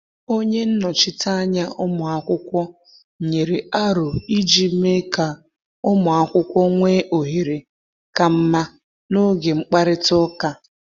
Onye nnọchiteanya ụmụ akwụkwọ nyere aro iji mee ka ụmụ akwụkwọ nwee ohere ka mma n’oge mkparịta ụka.